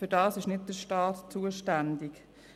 Dafür ist nicht der Staat zuständig.